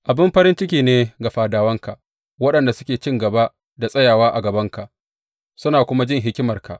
Abin farin ciki ne ga fadawanka, waɗanda suke cin gaba da tsayawa a gabanka suna kuma jin hikimarka!